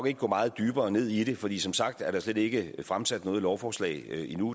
ikke gå meget dybere ned i det fordi som sagt er der slet ikke fremsat noget lovforslag endnu